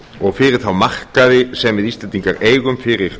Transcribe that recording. og fyrir þá markaði sem við íslendingar eigum fyrir